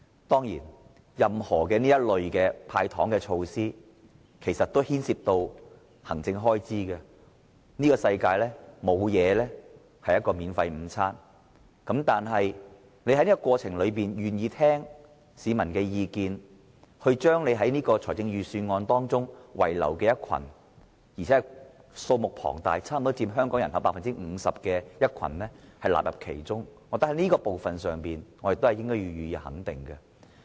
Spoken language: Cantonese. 當然，這類"派糖"措施牽涉行政開支，這個世界沒有免費午餐，但司長在這個過程中願意聆聽市民的意見，將預算案中被遺漏並且是數目龐大的一群，差不多佔香港人口 50% 的人納入其中，我覺得這是要予以肯定的。